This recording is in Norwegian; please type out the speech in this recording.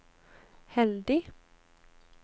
heldig